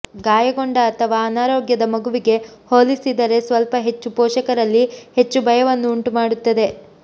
ಗಾಯಗೊಂಡ ಅಥವಾ ಅನಾರೋಗ್ಯದ ಮಗುವಿಗೆ ಹೋಲಿಸಿದರೆ ಸ್ವಲ್ಪ ಹೆಚ್ಚು ಪೋಷಕರಲ್ಲಿ ಹೆಚ್ಚು ಭಯವನ್ನು ಉಂಟುಮಾಡುತ್ತದೆ